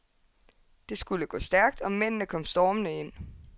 Det skulle gå stærkt, og mændende kom stormende ind.